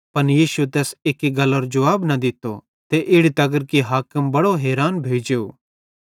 पन यीशुए तैस एक्की गल्लारो भी जुवाब न दित्तो ते इड़ी तगर कि हाकिम बड़ो हैरान भोइ जेव